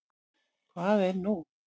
Hvað er nú?